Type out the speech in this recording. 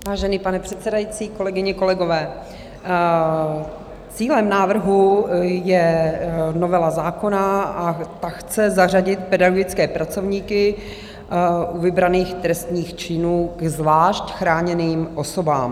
Vážený pane předsedající, kolegyně, kolegové, cílem návrhu je novela zákona a ta chce zařadit pedagogické pracovníky u vybraných trestných činů ke zvlášť chráněným osobám.